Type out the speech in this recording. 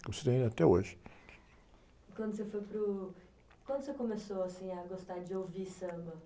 como se tem até hoje. quando você foi para o... Quando você começou, assim, a gostar de ouvir samba?